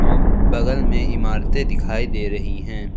बगल में इमारतें दिखाई दे रही हैं।